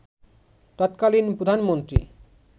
তৎকালীন প্রধানমন্ত্রী